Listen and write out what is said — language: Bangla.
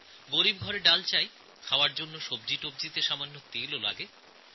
গরীব মানুষদের ডাল চাই খাবার জন্য তরিতরকারি তৈরিতে অল্প তেলও চাই